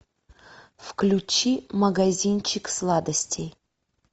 включи магазинчик сладостей